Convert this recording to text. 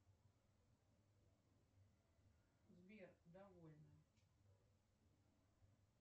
сбер довольно